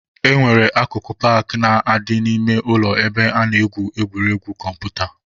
E nwere akụkụ paakị na-adị n'ime ụlọ ebe a na-egwu egwuregwu kọmputa.